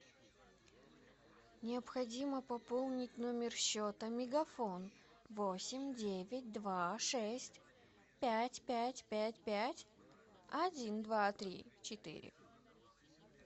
необходимо пополнить номер счета мегафон восемь девять два шесть пять пять пять пять один два три четыре